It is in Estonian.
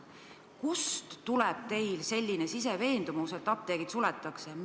Kust tuleb teil selline siseveendumus, et apteegid suletakse?